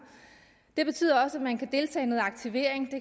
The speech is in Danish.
det betyder også at man kan deltage i noget aktivering